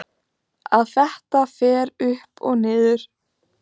Að þetta fer upp og niður?